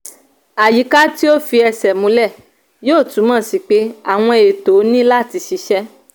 àyíká tí ò fi ẹsẹ̀ múlẹ̀ yóò túmọ̀ sí pé àwọn ètò ni láti ṣiṣẹ́.